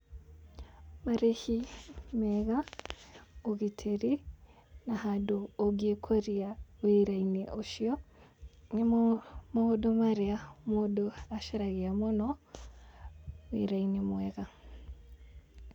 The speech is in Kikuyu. Marĩhi mega, ũgitĩri, na handũ ũngĩĩkũria wĩra-inĩ ucui, nĩmo maũndũ marĩa mũndũ acaragia mũno wĩra-inĩ mwega.